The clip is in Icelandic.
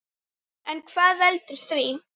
En hvað veldur því?